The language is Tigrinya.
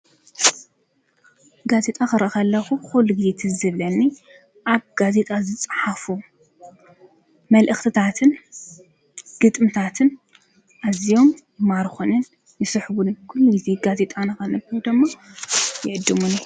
ጋዜጣ ክሪኢ ከለኹ ኩሉ ጊዜ ትዝ ዝብለኒ ኣብ ጋዜጣ ዝፀሓፉ መልእኽትታን ግጥምትታትን ኣዝዮም ይማርኹንን ይስሕቡንን ኩሉ ጊዜ ጋዜጣ ንኸንብብ ድማ ይዕድሙኒ፡፡